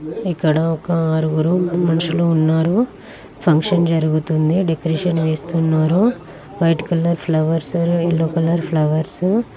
ఇక్కడ ఒక ఆరుగురు మనుషులు ఉన్నారు ఫంక్షన్ జరుగుతుంది డెకొరేషన్ వేస్తున్నారు white colour flowers yellow colour flowers .